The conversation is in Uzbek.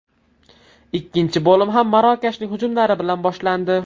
Ikkinchi bo‘lim ham Marokashning hujumlari bilan boshlandi.